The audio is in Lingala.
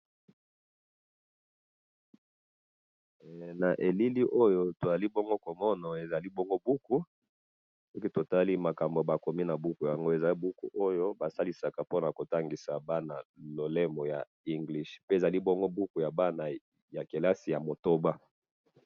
Na moni buku ya kotangisa bana English,